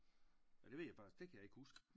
Ja det ved jeg faktisk det kan jeg ikke huske